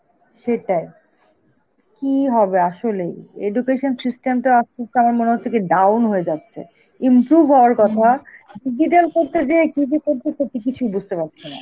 সেটাই, কি হবে আসলেই, education system টা কি down হয়ে যাচ্ছে improve হওয়ার কথা, কি যে করতেছে, কিছুই বুঝতে পারছিনা.